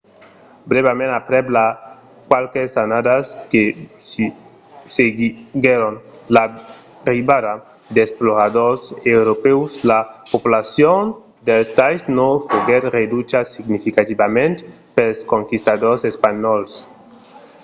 brèvament aprèp las qualques annadas que seguiguèron l’arribada d’exploradors europèus la populacion dels tainos foguèt reducha significativament pels conquistadors espanhòls